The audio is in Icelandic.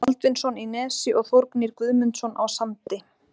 Baldvinsson í Nesi og Þórgnýr Guðmundsson á Sandi.